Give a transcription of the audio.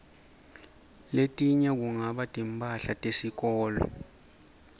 letinye kungaba timphahla tesikolo